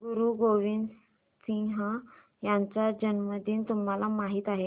गुरु गोविंद सिंह यांचा जन्मदिन तुम्हाला माहित आहे